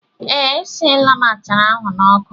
Ee, esiela m achara ahụ n'ọkụ.